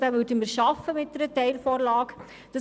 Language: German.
Diesen würden wir mit einer Teilvorlage jedoch schaffen.